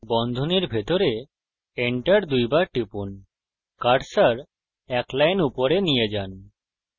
এখন বন্ধনীর ভিতরে enter দুইবার টিপুন কার্সার এক লাইন উপরে নিয়ে যান